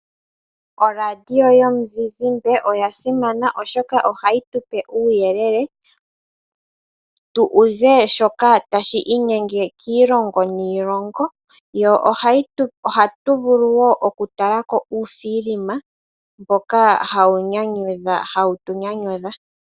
Oradio yomuzizimba oya simana, oshoka ohayi tu pe uuyelele tu uve shoka tashi inyenge kiilongo niilongo, ko ohatu vulu wo okutala ko uufilima mboka hawu tu nyanyudha.